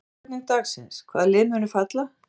Fyrri spurning dagsins: Hvaða lið munu falla?